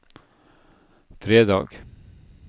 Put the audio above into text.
fredag